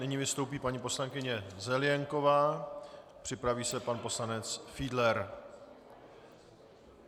Nyní vystoupí paní poslankyně Zelienková, připraví se pan poslanec Fiedler.